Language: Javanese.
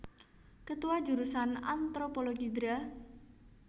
Ketua Jurusan Antropologi Dra